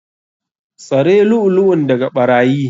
Tsare lu'ulu'un daga ɓarayi.